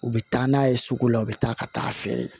U bɛ taa n'a ye sugu la u bɛ taa ka taa a feere